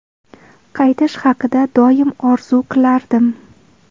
Qaytish haqida doim orzu qilardim.